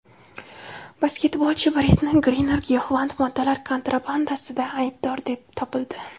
Basketbolchi Brittni Griner giyohvand moddalar kontrabandasida aybdor deb topildi.